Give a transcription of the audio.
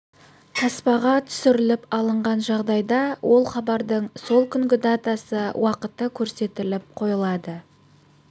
таспаға түсіріліп алынған жағдайда ол хабардың сол күнгі датасы уақыты көрсетіліп қойылады